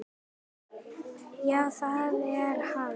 Já, það er hann.